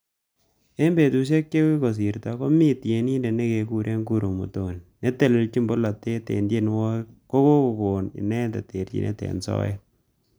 Eng betushek chekokosirto ko mi tienindet nekekure Guru Muthoni netelejin bolotet eng tienwokik kokokon inendet terjinet eng soet.